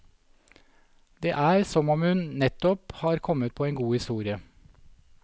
Det er som om hun nettopp har kommet på en god historie.